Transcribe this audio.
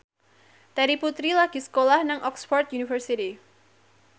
Terry Putri lagi sekolah nang Oxford university